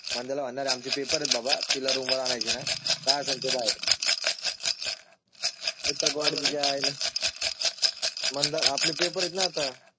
मंदयाला म्हणणार बाबा आमचे हे पेपर आहेत बाबा तिला रूम वर आणायची नाही. काय असेल ते बाहेरच आपले पेपर येत. नाही आता.